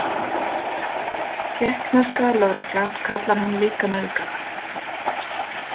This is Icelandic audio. Tékkneska lögreglan kallar hann líka nauðgara.